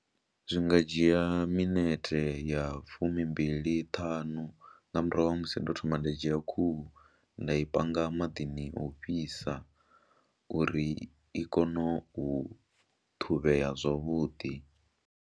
Zwi nga dzhia minete ya fumimbili ṱhanu nga murahu ha musi ndo thoma nda dzhia khuhu nda i panga maḓini o fhisa uri i kone u ṱhuvhea zwavhuḓi.